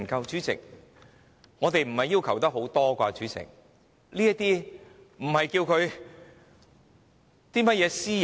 主席，我們的要求並不多，而且那些資料也不涉及私隱。